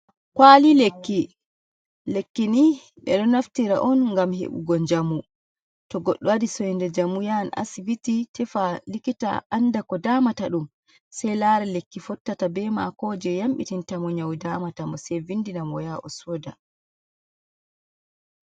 Kuwali lekki, lekkini ɓe ɗo naftira on ,ngam heɓugo njamu .To goɗɗo waɗi soynde njamu ,yahan asibiti tefa likita ,annda ko damata ɗum. Sey laara lekki fottata be maako, jey yamɗitinta mo nyawu damata mo. Sey vindina mo ,o yaha o sooda.